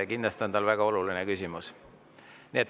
Kindlasti on tal väga oluline küsimus.